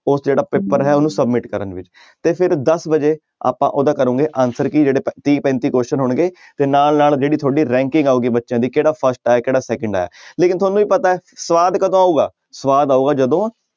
ਉਹ ਜਿਹੜਾ ਪੇਪਰ ਹੈ ਉਹਨੂੰ submit ਕਰਨ ਤੇ ਫਿਰ ਦਸ ਵਜੇ ਆਪਾਂ ਉਹਦਾ ਕਰੋਂਗੇ answer ਤੀਹ ਪੈਂਤੀ question ਹੋਣਗੇ ਤੇ ਨਾਲ ਨਾਲ ਜਿਹੜੀ ਤੁਹਾਡੀ ranking ਆਊਗੀ ਬੱਚਿਆਂ ਦੀ ਕਿਹੜਾ first ਆਇਆ ਕਿਹੜਾ ਸੈਕੰਡ ਆਇਆ ਲੇਕਿੰਨ ਤੁਹਾਨੂੰ ਵੀ ਪਤਾ ਹੈ ਸਵਾਦ ਕਦੋਂ ਆਊਗਾ ਸਵਾਦ ਆਊਗਾ ਜਦੋਂ